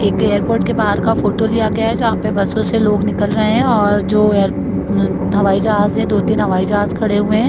एक एयरपोर्ट के बाहर का फोटो लिया गया है जहाँ पे बस में से लोग निकल और जो एर अम अम हवाई जहाज है दो-तीन हवाई जहाज खड़े हुए हैं।